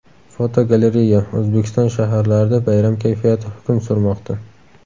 Fotogalereya: O‘zbekiston shaharlarida bayram kayfiyati hukm surmoqda.